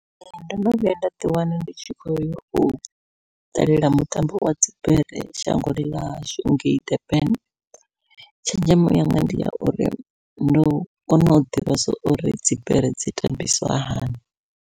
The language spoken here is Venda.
Ee ndo no vhuya nda ḓi wana ndi tshi khou yau ṱalela mutambo wa dzibere shangoni ḽashu ngei Durban, tshenzhemo yanga ndi ya uri ndo kona u ḓivhesa uri dzibere dzi tambisiwa hani.